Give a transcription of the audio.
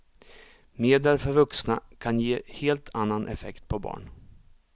Medel för vuxna kan ge helt annan effekt på barn.